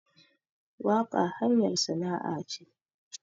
Waƙa hanyar sana'a ce